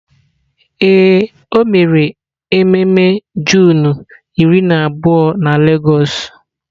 Ee, o mere ememe Juunu iri na abụọ na lagos.